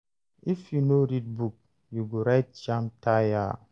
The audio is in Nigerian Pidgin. If you no read book, you go write jamb tire.